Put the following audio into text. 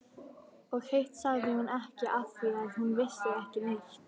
Og hitt sagði hún ekki afþvíað hún vissi ekki neitt.